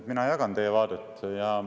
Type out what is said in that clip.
Mina jagan teie vaadet.